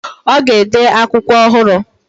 Ọ ga-ede akwụkwọ ọhụrụ.